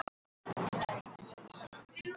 Pálína, heyrðu í mér eftir fjörutíu og tvær mínútur.